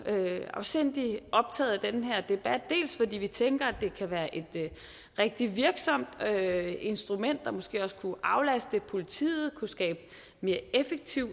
afsindig optagede af den her debat fordi vi tænker at det kan være et rigtig virksomt instrument der måske også kunne aflaste politiet og kunne skabe mere effektiv